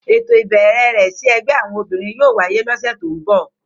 Éto ibẹrẹ rẹ si ẹgbẹ awọn obinrin yóò waye lose to nbọ.